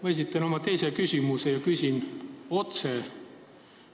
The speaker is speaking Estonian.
Ma esitan oma teise küsimuse ja küsin otse.